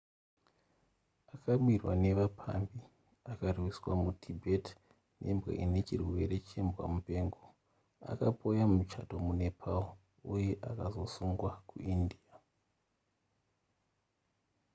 akabirwa nevapambi akarwiswa mutibet nembwa inechirwere chembwamupengo akapoya muchato munepal uye akazosungwa kuindia